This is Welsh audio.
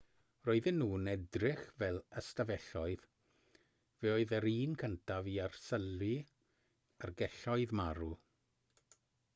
roedden nhw'n edrych fel ystafelloedd fe oedd yr un cyntaf i arsylwi ar gelloedd marw